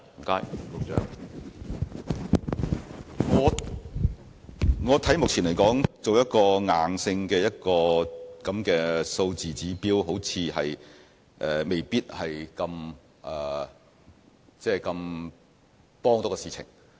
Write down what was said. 目前來說，我認為設定一個硬性數字指標，對事情未必有很大幫助。